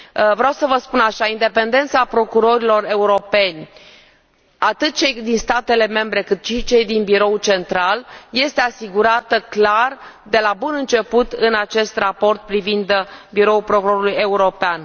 Vreau să vă spun așa independența procurorilor europeni, atât a celora din statele membre, cât și a celora din biroul central, este asigurată în mod clar, de la bun început, în acest raport privind Biroul Procurorului European.